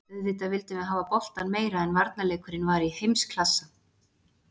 Auðvitað vildum við hafa boltann meira en varnarleikurinn var í heimsklassa.